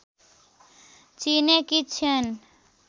चिनेकी छिन्